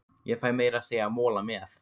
Ég fæ meira að segja mola með.